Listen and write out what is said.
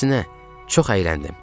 Əksinə, çox əyləndim.